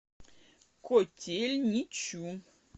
котельничу